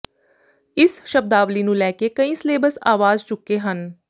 ਇਸ ਸ਼ਬਦਾਵਲੀ ਨੂੰ ਲੈ ਕੇ ਕਈ ਸੇਲੇਬਸ ਅਵਾਜ਼ ਚੁੱਕੇ ਹਨ